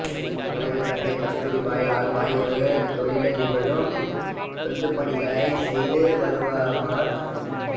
இவரது தந்தை கஸ்தூர்பாய் லால்பாய் ஒரு தொழிலதிபரும் தொண்டுப்பணிகளை செய்து வந்தவருமாவார்